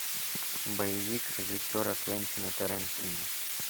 боевик режиссера квентина тарантино